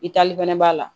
I taali fɛnɛ b'a la